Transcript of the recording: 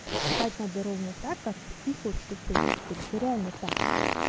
поступать надо ровно так как ты хочешь чтобы с тобой поступили это реально так